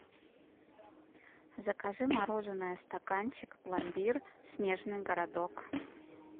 закажи мороженое стаканчик пломбир снежный городок